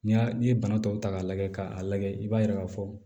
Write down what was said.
N'i y'a n'i ye bana tɔw ta k'a lajɛ k'a lajɛ i b'a ye k'a fɔ